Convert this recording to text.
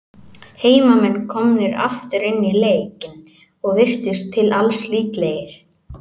Heimamenn komnir aftur inn í leikinn, og virtust til alls líklegir.